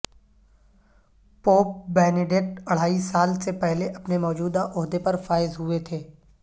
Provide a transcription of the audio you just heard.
pope Benedict اڑھائی سال سے پہلے اپنے موجودہ عہدے پر فائز ہوئے تھے